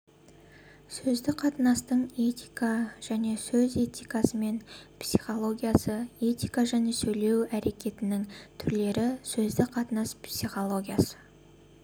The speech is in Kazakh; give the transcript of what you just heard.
сөздік қатынастың этика және сөз этикасы мен психологиясы этика және сөйлеу әрекетінің түрлері сөздік қатынас психологиясы